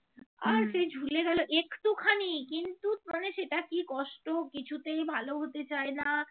মানে সেটা কষ্ট কিছুতেই ভাল হতে চায় না